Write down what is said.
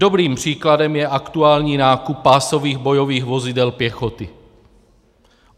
Dobrým příkladem je aktuální nákup pásových bojových vozidel pěchoty.